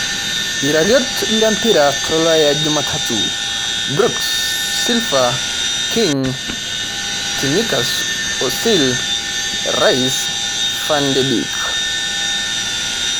Iratiot lempira tolaya jumatatu: Brooks, Silva, King, Tsimikas, Ozil, Rice, Van de beek